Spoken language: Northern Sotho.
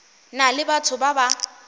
na le batho ba ba